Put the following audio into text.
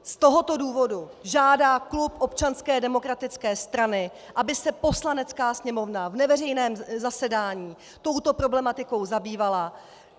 Z tohoto důvodu žádá klub Občanské demokratické strany, aby se Poslanecká sněmovna v neveřejném zasedání touto problematikou zabývala.